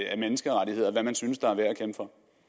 af menneskerettigheder hvad man synes er værd